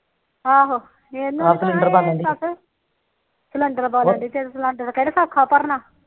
ਆਹੋ ਸਿਲੰਡਰ ਬਾਲਣਡੀ ਸਿਲੰਡਰ ਕਿਹੜਾ ਸੋਖਾ ਭਰੋਣਾ